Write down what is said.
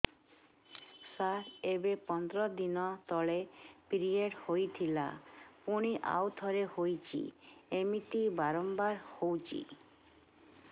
ସାର ଏବେ ପନ୍ଦର ଦିନ ତଳେ ପିରିଅଡ଼ ହୋଇଥିଲା ପୁଣି ଆଉଥରେ ହୋଇଛି ଏମିତି ବାରମ୍ବାର ହଉଛି